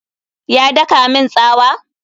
Ya daka min tsawa?